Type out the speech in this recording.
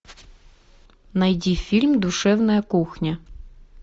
найди фильм душевная кухня